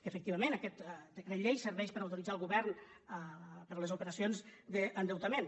efectivament aquest decret llei serveix per autoritzar el govern per a les operacions d’endeutament